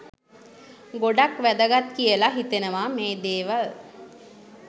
ගොඩක් වැදගත් කියලා හිතෙනවා මේ දේවල්.